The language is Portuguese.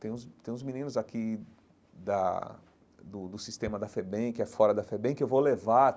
Tem uns tem uns meninos aqui da do do Sistema da FEBEM, que é fora da FEBEM, que eu vou levar.